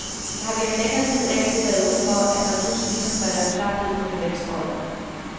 Jeg har gennem længere tid af og til været ude for, at der pludselig ligesom falder en klap ned for mit venstre øje.